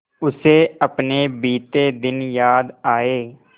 उसे अपने बीते दिन याद आए